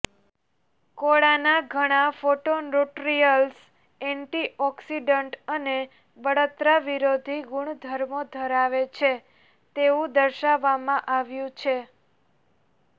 કોળાના ઘણા phytonutrients antioxidant અને બળતરા વિરોધી ગુણધર્મો ધરાવે છે તેવું દર્શાવવામાં આવ્યું છે